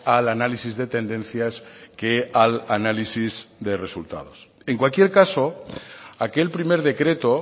al análisis de tendencias que al análisis de resultados en cualquier caso aquel primer decreto